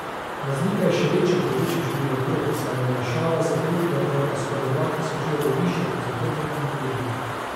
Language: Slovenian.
Razlika je še večja pri večjem številu otrok, saj je olajšava za tretjega otroka skoraj dva tisoč evrov višja kot za prvega in drugega.